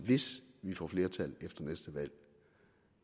hvis vi får flertal efter næste valg